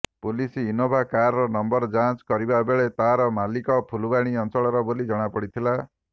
police Innova କାରର number ଯାଞ୍ଚ କରିବା ବେଳେ ତାର ମାଲିକ ଫୁଲବାଣୀ ଅଞ୍ଚଳର ବୋଲି ଜଣାପଡ଼ିଥିଲା